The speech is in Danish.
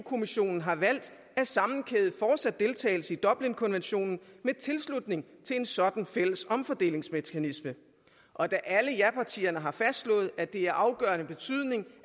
kommissionen har valgt at sammenkæde fortsat deltagelse i dublinkonventionen med tilslutning til en sådan fælles omfordelingsmekanisme og da alle japartierne har fastslået at det er af afgørende betydning